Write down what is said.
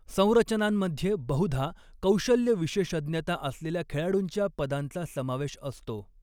संरचनांमध्ये बहुधा कौशल्य विशेषज्ञता असलेल्या खेळाडूंच्या पदांचा समावेश असतो.